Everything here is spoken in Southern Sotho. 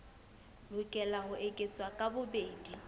lokela ho eketswa ka bobedi